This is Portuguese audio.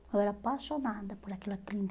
Eu era apaixonada por aquela